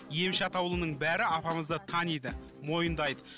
емші атаулының бәрі апамызды таниды мойындайды